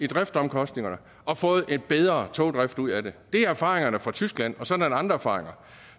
driftsomkostninger og fået en bedre togdrift ud af det det er erfaringerne fra tyskland og sådan er der andre erfaringer